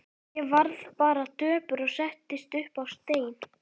Ég varð bara döpur og settist upp á stein.